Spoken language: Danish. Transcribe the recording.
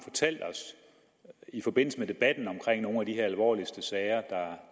i forbindelse med debatten om nogle af de alvorligste sager